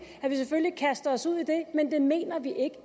kastet os ud i det men det mener vi ikke